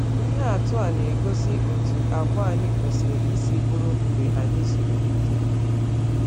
Ihe atụ a na-egosi otú àgwà anyị kwesịrị isi bụrụ mgbe anyị zuru ike.